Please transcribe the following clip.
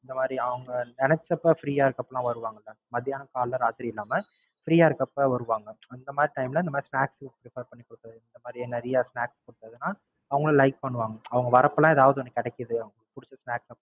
இந்த மாதிரி அவுங்க நினைச்சப்ப Free ஆ இருக்கப்பலாம் வருவாங்கல்ல மதியானம் காலைல ராத்திரின்னு இல்லாம Free ஆ இருக்கப்ப வருவாங்க. அந்த மாதிரி Time ல இந்த மாதிரி Snacks food prepare பண்ற Hotel இந்த மாதிரி நிறையா Snacks hotel னா அவுங்களும் Like பண்ணுவாங்க. அவுங்க வரப்பலாம் எதாவது ஒன்னு கிடைக்குது. அவுங்களுக்கு புடுச்ச Snacks